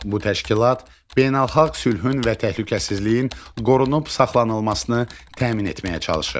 Bu təşkilat beynəlxalq sülhün və təhlükəsizliyin qorunub saxlanılmasını təmin etməyə çalışır.